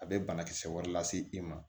A bɛ banakisɛ wɛrɛ lase i ma